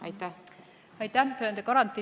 Aitäh!